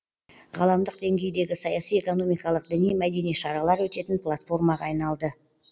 ғаламдық деңгейдегі саяси экономикалық діни мәдени шаралар өтетін платформаға айналды